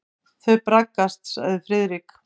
Þau braggast sagði Friðrik.